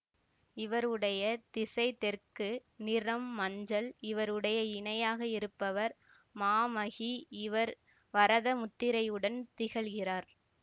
இவருடைய திசை தெற்கு நிறம் மஞ்சள் இவருடைய இணையாக இருப்பவர் மாமகீ இவர் வரத முத்திரையுடன் திகழ்கிறார்